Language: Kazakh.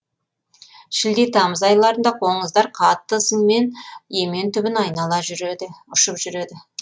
шілде тамыз айларында қоңыздар қатты ызыңмен емен түбін айнала жүреді ұшып жүреді